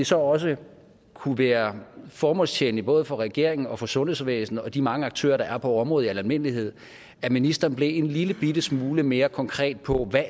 så også kunne være formålstjenligt både for regeringen og for sundhedsvæsenet og de mange andre aktører der er på området i al almindelighed at ministeren blev en lillebitte smule mere konkret på hvad